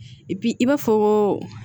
i b'a fɔ ko